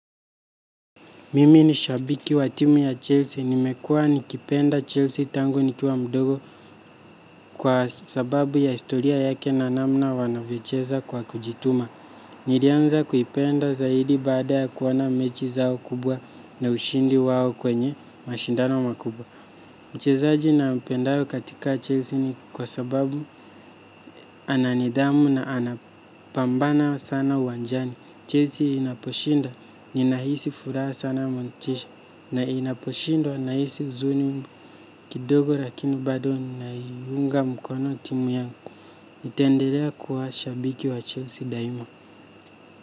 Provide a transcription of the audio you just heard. Mimi ni shabiki wa timu ya Chelsea. Nimekuwa nikipenda Chelsea tangu nikiwa mdogo kwa sababu ya historia yake na namna wanavyocheza kwa kujituma. Nilianza kuipenda zaidi baada ya kuona mechi zao kubwa na ushindi wao kwenye mashindano makubwa. Mchezaji nampendayo katika Chelsea ni kwa sababu ana nidhamu na anapambana sana uwanjani. Chelsea inaposhinda, ninahisi furaha sana motisha, na inaposhindwa nahisi huzuni kidogo lakini bado nina iunga mkono timu yangu. Nitaendelea kuwa shabiki wa Chelsea daima.